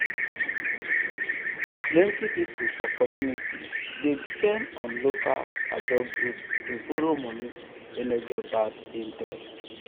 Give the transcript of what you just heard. plenty people for community dey depend on local ajo group to borrow money wey no get bad interest.